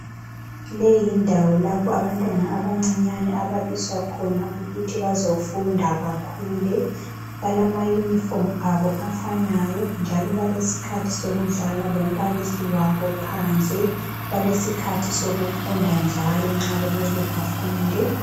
Leyiyindawo lapho abantwana abancinyani ababiswakhona ukuthi bazofunda bakhule, balama uniform abo afanayo njalo balesikhathi sokudlala lombalisi wabo phandle. Balesikhathi sokufunda njalo nxa kumele bafunde.